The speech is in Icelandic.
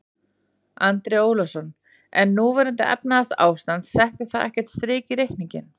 Andri Ólafsson: En núverandi efnahagsástand, setti það ekkert strik í reikninginn?